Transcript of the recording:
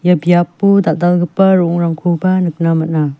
biapo dal·dalgipa ro·ongrangkoba nikna man·a.